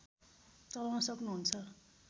चलाउन सक्नुहुन्छ